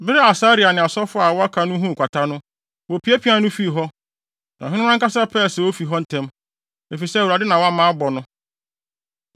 Bere a Asaria ne asɔfo a wɔaka no huu kwata no, wopiapiaa no fii hɔ. Na ɔhene no ankasa pɛɛ sɛ ofi hɔ ntɛm, efisɛ Awurade na na wabɔ no.